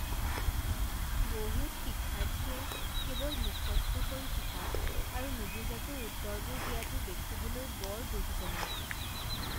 বহুত শিক্ষাৰ্থীয়ে কেৱল মুখস্থ কৰি শিকা আৰু নুবুজাকৈ উত্তৰবোৰ দিয়াটো দেখিবলৈ বৰ দুখজনক।